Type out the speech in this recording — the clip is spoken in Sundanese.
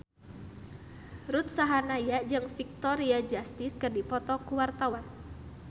Ruth Sahanaya jeung Victoria Justice keur dipoto ku wartawan